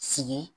Sigi